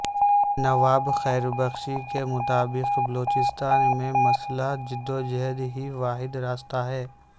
نواب خیر بخش کے مطابق بلوچستان میں مسلح جدوجہد ہی واحد راستہ ہے